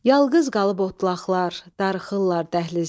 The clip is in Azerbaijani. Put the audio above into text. Yalqız qalıb otlaqlar, darıxırlar dəhlizdə.